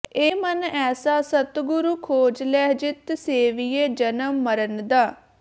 ਏ ਮਨ ਐਸਾ ਸਤਿਗੁਰੁ ਖੋਜਿ ਲਹੁ ਜਿਤੁ ਸੇਵਿਐ ਜਨਮ ਮਰਣ ਦ